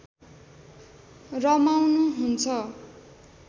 रमाउनु हुन्छ